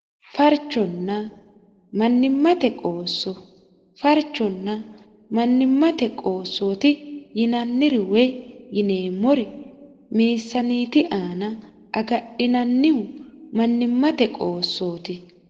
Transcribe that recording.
farchonna mannimmate qoosso farchonna mannimmate qoossooti yinanniri woy yineemmori meessaniiti aana agadhinannihu mannimmate qoossooti